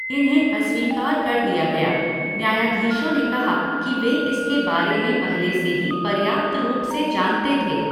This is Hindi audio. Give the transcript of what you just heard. इन्हें अस्वीकार कर दिया गया, न्यायाधीशों ने कहा कि वे इसके बारे में पहले से ही पर्याप्त रूप से जानते थे।